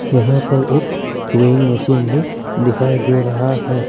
यहां पर एक वेइंग मशीन भी दिखाई दे रहा है।